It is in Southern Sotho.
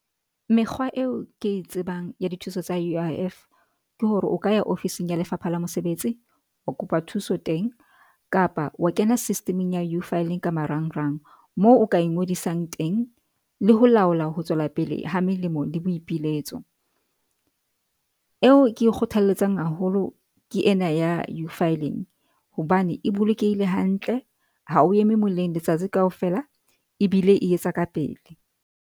Mekgwa eo ke e tsebang ya dithuso tsa U_I_F ke hore o ka ya ofising ya Lefapha la Mosebetsi, o kopa thuso teng kapa wa kena system-eng ya uFiling ka marang-rang. Moo o ka ingodisang teng, le ho laola ho tswela pele ha melemo le boipiletso. Eo ke e kgothalletsang haholo ke ena ya uFiling hobane e bolokehile hantle ha o eme moleng letsatsi kaofela e bile e etsa ka pele.